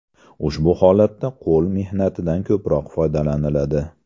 Ushbu holatda qo‘l mehnatidan ko‘proq foydalaniladi.